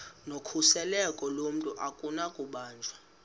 nokhuseleko lomntu akunakubanjwa